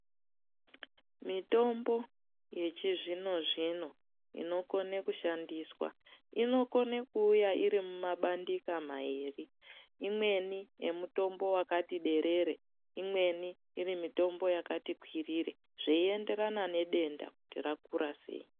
Mitombo yechizvino zvino inokona kushandiswa, inokona kuuya iri mumabandika mairi. Imweni yemutombo wakati derere, imweni iri mitombo yakati kwirire zveienderana nedenda kuti rakura sei